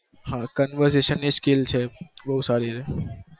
હા converstaishan ની skill છે